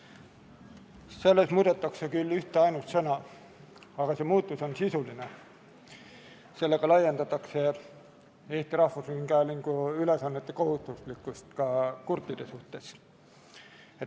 Selles seaduses muudetakse küll ühteainsat sõna, aga see muudatus on sisuline, sellega muutuvad Eesti Rahvusringhäälingu ülesanded kohustuslikuks ka kurtide suhtes.